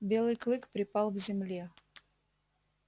белый клык припал к земле